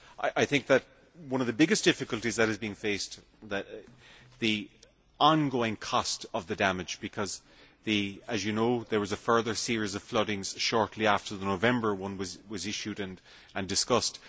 I think that one of the biggest difficulties being faced is the ongoing cost of the damage because there was a further series of floodings shortly after the November one was an issue and discussed.